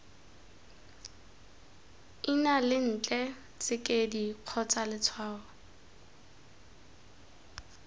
ina lentle tsekedi kgotsa letshwao